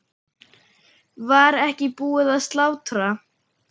Var ekki búið að slátra?